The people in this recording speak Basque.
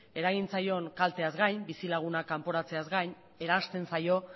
eragin zaion kalteaz gain bizilagunak kanporatzeaz gain eransten zaio